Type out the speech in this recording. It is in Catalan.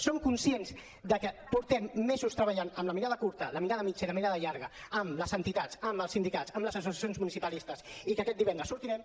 som conscients de que portem mesos treballant amb la mirada curta la mirada mitjana i la mirada llarga amb les entitats amb els sindicats amb les associacions municipalistes i que aquest divendres sortirem